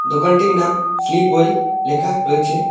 দোকানটির নাম স্লিপওয়েল লেখা রয়েছে।